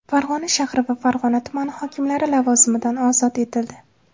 Farg‘ona shahri va Farg‘ona tumani hokimlari lavozimidan ozod etildi.